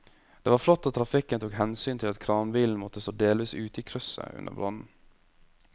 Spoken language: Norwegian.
Det var flott at trafikken tok hensyn til at kranbilen måtte stå delvis ute i krysset under brannen.